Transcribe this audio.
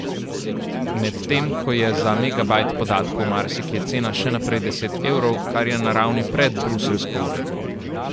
Medtem ko je za megabajt podatkov marsikje cena še naprej deset evrov, kar je na ravni pred bruseljsko uredbo.